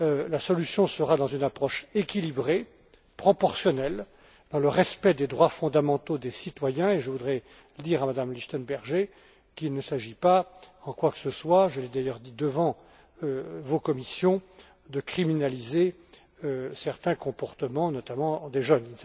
La solution résidera dans une approche équilibrée, proportionnelle, dans le respect des droits fondamentaux des citoyens, et je voudrais dire à Mme Lichtenberger qu'il ne s'agit pas en quoi que ce soit je l'ai d'ailleurs dit devant vos commissions de criminaliser certains comportements, notamment des jeunes.